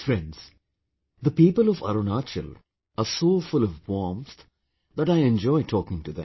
Friends, the people of Arunachal are so full of warmth that I enjoy talking to them